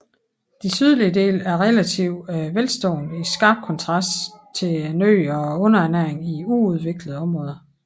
De sydlige dele er relativt velstående i skarp kontrast til nøden og undernæringen i uudviklede områder